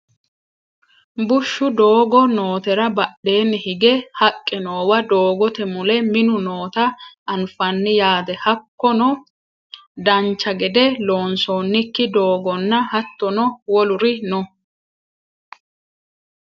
bushshu doogo nootera badhenni higge haqqe noowa doogote mule minu noota anafanni yaate hakkono dancha gede lonsoonnikki doogonnna hattono woluri no